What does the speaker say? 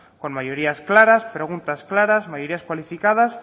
con mayorías claras preguntas claras mayorías cualificadas